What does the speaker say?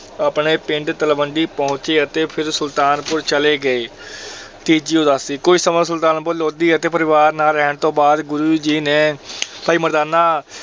ਆਪਣੇ ਪਿੰਡ ਤਲਵੰਡੀ ਪਹੁੰਚੇ ਅਤੇ ਫਿਰ ਸੁਲਤਾਨਪੁਰ ਚਲੇ ਗਏ ਤੀਜੀ ਉਦਾਸੀ ਕੁੱਝ ਸਮਾਂ ਸੁਲਤਾਨਪੁਰ ਲੋਧੀ ਅਤੇ ਪਰਿਵਾਰ ਨਾਲ ਰਹਿਣ ਤੋਂ ਬਾਅਦ ਗੁਰੁ ਜੀ ਨੇ ਭਾਈ ਮਰਦਾਨਾ